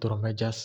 duro meshas